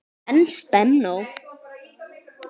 En spennó!